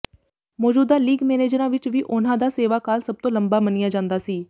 ਮੌਜੂਦਾ ਲੀਗ ਮੈਨੇਜਰਾਂ ਵਿਚੋਂ ਵੀ ਉਨ੍ਹਾਂ ਦਾ ਸੇਵਾ ਕਾਲ ਸਭ ਤੋਂ ਲੰਬਾ ਮੰਨਿਆ ਜਾਂਦਾ ਸੀ